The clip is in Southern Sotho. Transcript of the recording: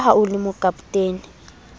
ka ha o le mokapotene